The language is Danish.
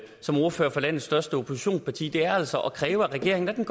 som ordfører for landets største oppositionsparti er altså at kræve af regeringen at den